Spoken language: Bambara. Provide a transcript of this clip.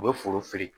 U bɛ foro fiyɛ